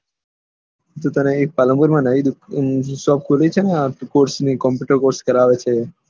તું તને પાલનપુર નયી શોપ ખોલી થે ને આ કોર્ષ નું કોમ્પુટર કોર્ષ કરાવે છે